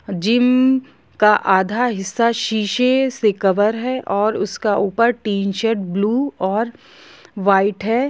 Gym का आधा हिसा शीशे से कवर है और उसका ऊपर टीनशेड ब्लू और वाइट है।